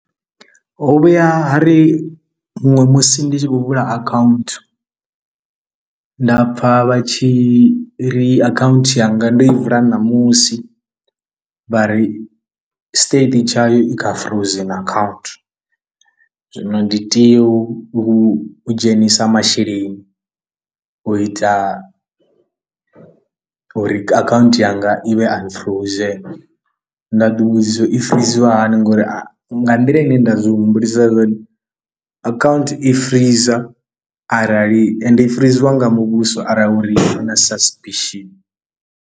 Ho vhuya ha ri huṅwe musi ndi tshi khou vula akhaunthu nda pfha vha tshi ri akhaunthu yanga ndi i vula ṋamusi vha ri state tshayo i kha frozen akhaunthu, zwino ndi tea u dzhenisa masheleni u ita u uri akhaunthu yanga i vhe unfrozen, nda ḓivhudzisa i friziwa hani ngori a nga nḓila ine nda zwi humbulisa hone akhaunthu i freezor arali ende i friziwa nga muvhuso arali uri i na suspicion.